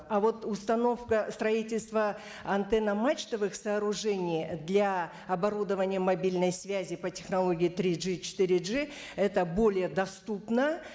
а вот установка строительство антенно мачтовых сооружений для оборудования мобильной связи по технологии три джи четыре джи это более доступно